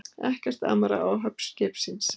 Ekkert amar að áhöfn skipsins